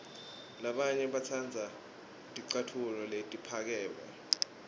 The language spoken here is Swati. labanye batsandza ticatfulo letiphakeme